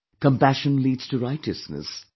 Compassion leads to righteousness,